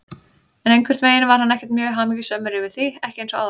En einhvern veginn var hann ekkert mjög hamingjusamur yfir því, ekki eins og áður.